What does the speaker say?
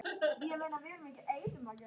Á því verður að taka.